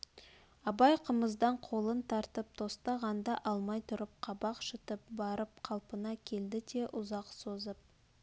абай қымыздан қолын тартып тостағанды алмай тұрып қабақ шытып барып қалпына келді де ұзақ созып